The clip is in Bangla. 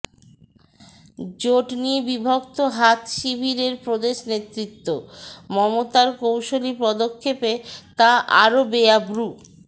জোট নিয়ে বিভক্ত হাত শিবিরের প্রদেশ নেতৃত্ব মমতার কৌশলী পদক্ষেপে তা আরও বেআব্রু